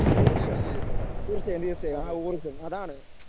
ഊർജ്ജം തീർച്ചയായും തീർച്ചയായും ആ ഊർജ്ജം അതാണ്.